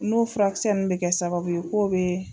N'olu furakisɛ ninnu bɛ kɛ sababu ye n'o bɛ